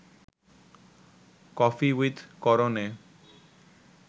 'coffee with Karan A